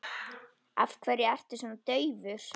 Af hverju ertu svona daufur?